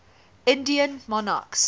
indian monarchs